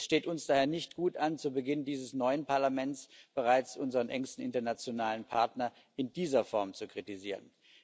Es steht uns daher nicht gut an, zu Beginn dieses neuen Parlaments bereits unseren engsten internationalen Partner in dieser Form zu kritisieren.